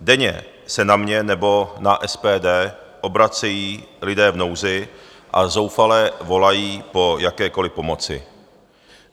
Denně se na mě nebo na SPD obracejí lidé v nouzi a zoufale volají po jakékoliv pomoci.